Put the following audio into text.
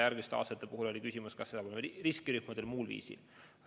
Järgmiste aastate puhul oli küsimus, kas seda teha riskirühmadele või muul põhimõttel.